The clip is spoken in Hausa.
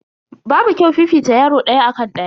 Babu kyau fifita yaro daya akan daya.